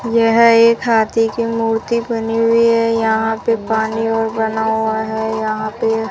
यह एक हाथी की मूर्ति बनी हुई है यहां पे पानी और बना हुआ है यहां पे--